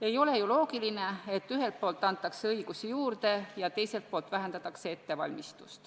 Ei ole ju loogiline, et ühelt poolt antakse õigusi juurde ja teiselt poolt vähendatakse ettevalmistust.